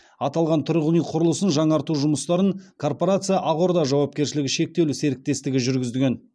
аталған тұрғын үй құрылысын жаңарту жұмыстарын корпорация ақорда жауапкершілігі шектеулі серіктестігі жүргізген